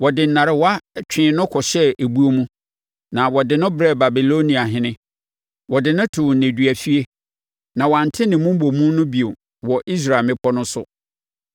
Wɔde nnarewa twee no kɔhyɛɛ ebuo mu na wɔde no brɛɛ Babilonia ɔhene. Wɔde no too nneduafie, na wɔante ne mmobomu no bio wɔ Israel mmepɔ no so.